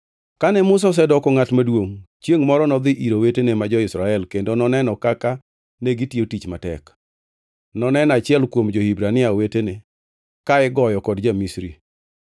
Kane Musa osedoko ngʼat maduongʼ, chiengʼ moro nodhi ir owetene ma jo-Israel kendo noneno kaka negitiyo tich matek. Noneno achiel kuom jo-Hibrania wetene, ka igoyo kod ja-Misri.